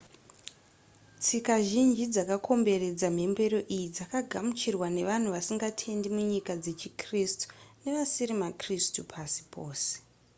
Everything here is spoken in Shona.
tsika zhinji dzakakomberedza mhemberero iyi dzakagamuchirwa nevanhu vasingatendi munyika dzechikritsu nevasiri makritsu pasi pose